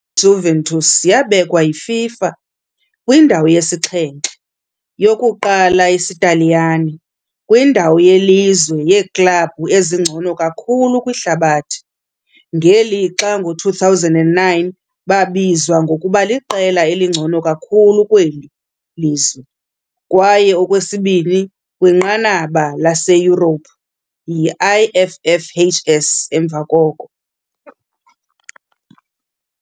Juventus yabekwa yiFIFA kwindawo yesixhenxe, yokuqala isiTaliyane, kwindawo yelizwe yeeklabhu ezingcono kakhulu kwihlabathi, ngelixa ngo-2009 babizwa ngokuba liqela elingcono kakhulu kweli lizwe kwaye okwesibini kwinqanaba laseYurophu yi- IFFHS, emva koko.